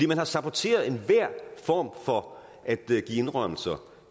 man har saboteret enhver form for at give indrømmelser